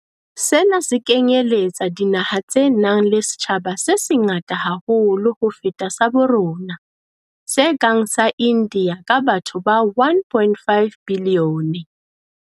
Sena se kenyeletsa dinaha tse nang le setjhaba se sengata haholo ho feta sa bo rona, se kang sa India ka batho ba 1.5 bilione.